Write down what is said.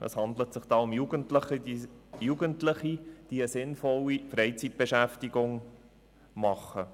Es handelt sich um Jugendliche, die einer sinnvollen Freizeitbeschäftigung nachgehen.